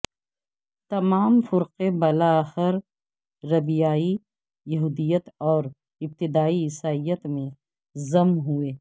تمام فرقے بالاخر ربیائی یہودیت اور ابتدائی عیسائیت میں ظم ہوئے